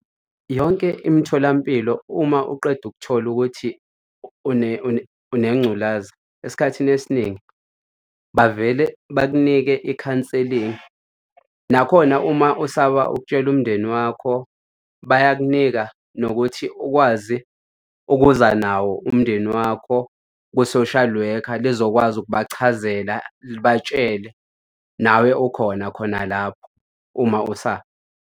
Yonke imitholampilo uma uqeda ukuthola ukuthi unengculaza esikhathini esiningi bavele bakunike i-counseling. Nakhona uma usaba ukutshela umndeni wakho, bayakunika nokuthi ukwazi ukuza nawo umndeni wakho kwi-social worker lizokwazi ukubachazela libatshele nawe okhona khona lapho uma usaba.